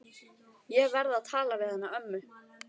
Ég verð að tala við hana ömmu.